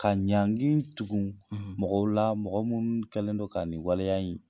Ka ɲagin tugun ,, mɔgɔw la mɔgɔ minnu kɛlen don ka nin waleya in